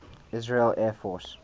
israeli air force